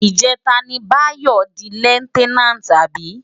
Ijètá ni Bayo di lèftènánti abi?